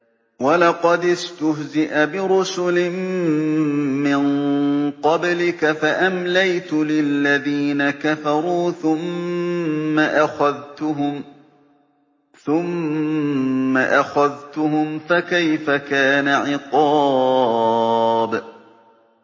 وَلَقَدِ اسْتُهْزِئَ بِرُسُلٍ مِّن قَبْلِكَ فَأَمْلَيْتُ لِلَّذِينَ كَفَرُوا ثُمَّ أَخَذْتُهُمْ ۖ فَكَيْفَ كَانَ عِقَابِ